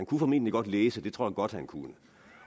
kunne formentlig godt læse det tror jeg godt han kunne